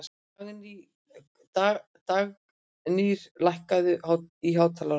Dagnýr, lækkaðu í hátalaranum.